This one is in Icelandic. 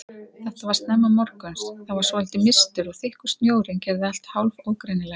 Þetta var snemma morguns, það var svolítið mistur og þykkur snjórinn gerði allt hálf ógreinilegt.